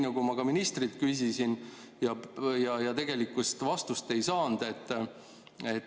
Aga ma ka ministrilt küsisin ja tegelikult vastust ei saanud.